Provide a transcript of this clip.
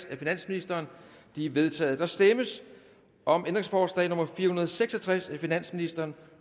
af finansministeren de er vedtaget der stemmes om ændringsforslag nummer fire hundrede og seks og tres af finansministeren